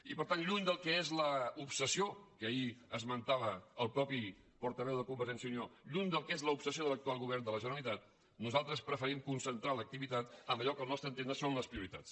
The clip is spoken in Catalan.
i per tant lluny del que és l’obsessió que ahir esmen·tava el mateix portaveu de convergència i unió lluny del que és l’obsessió de l’actual govern de la gene·ralitat nosaltres preferim concentrar l’activitat en allò que al nostre entendre són les prioritats